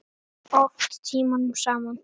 Stóra lausnin er smá!